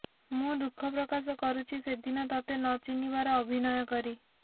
ମୁଁ ଦୁଃଖ ପ୍ରକାଶ କରୁଛି ସେଦିନ ତୋତେ ନ ଚିହ୍ନିବାର ଅଭିନୟ କରି